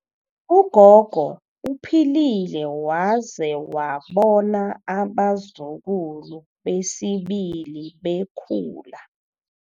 Ugogo uphilile waze wabona abazukulu besibili bekhula.